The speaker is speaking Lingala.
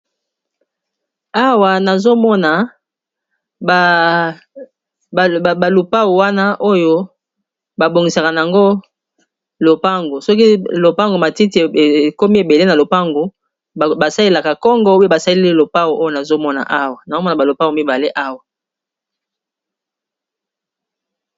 Awa nazomona ba lupau wana oyo babongisaka na yango lopango soki lopango matiti ekomi ebele na lopango basalelaka kongo pe basaleli lopau oyo nazomona, nazomona balopau mibale awa.